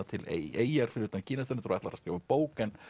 til eyjar fyrir utan Kínastrendur og ætlar að skrifa bók en